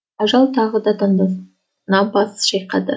ажал тағы да таңдана бас шайқады